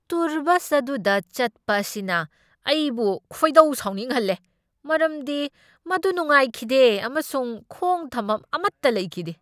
Tour bus ꯑꯗꯨꯗ ꯆꯠꯄ ꯑꯁꯤꯅ ꯑꯩꯕꯨ ꯈꯣꯏꯗꯧ ꯁꯥꯎꯅꯤꯡꯍꯜꯂꯦ ꯃꯔꯝꯗꯤ ꯃꯗꯨ ꯅꯨꯡꯉꯥꯏꯈꯤꯗꯦ ꯑꯃꯁꯨꯡ ꯈꯣꯡ ꯊꯝꯐꯝ ꯑꯃꯠꯇ ꯂꯩꯈꯤꯗꯦ꯫